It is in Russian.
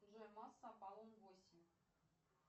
джой масса аполлон восемь